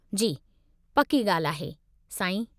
जी, पक्की ॻाल्हि आहे, साईं।